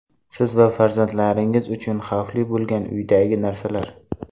Siz va farzandingiz uchun xavfli bo‘lgan uydagi narsalar.